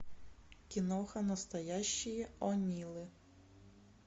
киноха настоящие онилы